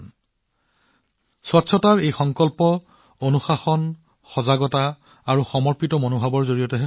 পৰিষ্কাৰপৰিচ্ছন্নতাৰ এই সংকল্প কেৱল অনুশাসন সজাগতা আৰু নিষ্ঠাৰ জৰিয়তেহে পূৰণ কৰা হব